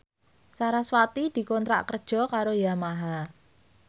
sarasvati dikontrak kerja karo Yamaha